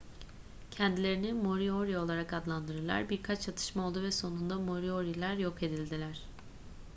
kendilerini moriori olarak adlandırdılar birkaç çatışma oldu ve sonunda morioriler yok edildiler